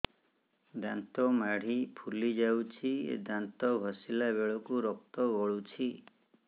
ଦାନ୍ତ ମାଢ଼ୀ ଫୁଲି ଯାଉଛି ଦାନ୍ତ ଘଷିଲା ବେଳକୁ ରକ୍ତ ଗଳୁଛି